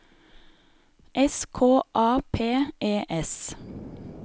S K A P E S